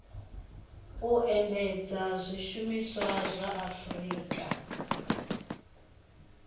u endedza zwiimiswa zwa afurika